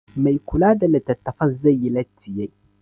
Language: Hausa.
Mai kula da litattafan zai yi latti yai